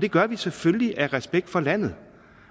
det gør vi selvfølgelig af respekt for landet